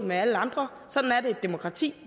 med alle andre sådan er det i et demokrati